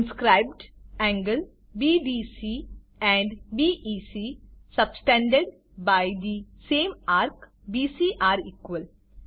inscribed angles BDC and BEC subtended by the same ARC BC are equal